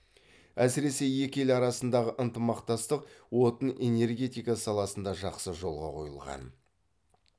әсіресе екі ел арасындағы ынтымақтастық отын энергетика саласында жақсы жолға қойылған